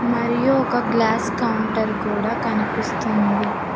మరియు ఒక glass counter కూడా కనిపిస్తుంది.